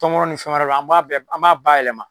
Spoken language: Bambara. Tɔmɔnɔ ni fɛn wɛrɛ la an ba an b'a bayɛlɛma